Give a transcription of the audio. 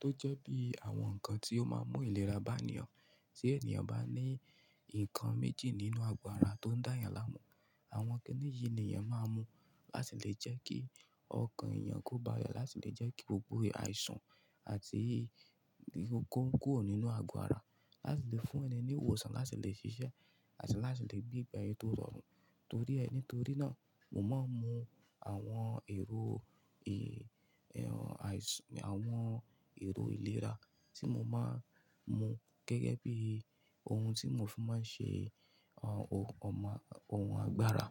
tó jẹ́ bí àwọn nǹkan tí ó máa ń mú ìlera bá ènìyàn. Tí ènìyàn bá ní nǹkan méjì nínú àgọ́ ara tó ń dá yàn láàmú, àwọn kíni yìí ni èèyàn máa ń mu láti lè jẹ́ kí ọkàn èèyàn kó bá le, láti lè jẹ́ kí gbogbo àìsàn àti ìkókó kúrò nínú àgọ́ ara, láti lè fún ẹni ní ìwòsàn, láti lè ṣiṣẹ́ àti láti lè gbégbe aye tó rọrùn. Torí ẹ, nítorí náà mo máa ń mu àwọn èrò àìs, àwọn èrò ìlera tí mo máa ń mu gẹ́gẹ́ bí ohun tí mo fi máa ń ṣe àwọn ohun ọmọ, ohun agbára.